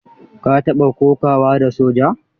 Ka taɓa kokawa da soja?